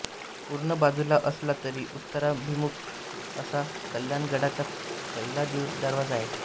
पूर्व बाजूला असला तरी उत्तराभिमुख असा कल्याणगडाचा पहिला दरवाजा आहे